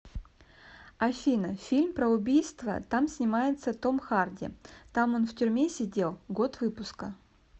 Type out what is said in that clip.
афина фильм про убийства там снимается том харди там он в тюрьме сидел год выпуска